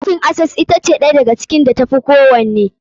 Bankin Access ɗaya daga cikin bankin da ta fi kowanne.